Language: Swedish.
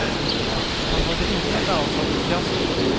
Han hade inget ansvar för fiaskot.